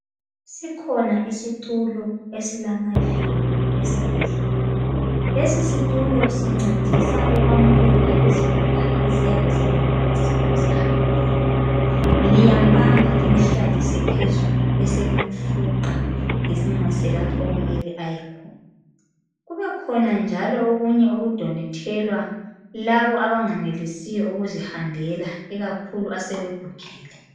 Sikhona isitulo esilamavili esibhedlela lesi situlo sincedisa ukwamukela izigulane eziyabe zingenelisi ukuzihambela. Liyamubamba limhlalise phezulu beselimfuqa limuse lapha okumeke ayekhona. Kubebakhona njalo okunye okudonethelwa laba abangenelisiyo ukuzihambela ikakhulu asebegugile.